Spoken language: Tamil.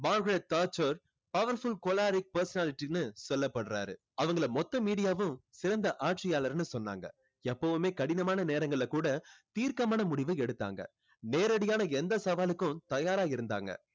Margaret Thatcher powerful choleric personality ன்னு சொல்லப்படுறாரு. அவங்களை மொத்த மீடியாவும் சிறந்த ஆட்சியாளர்னு சொன்னாங்க. எப்பவுமே கடினமான நேரங்களில கூட தீர்க்கமான முடிவு எடுத்தாங்க. நேரடியான எந்த சவாலுக்கும் தயாரா இருந்தாங்க.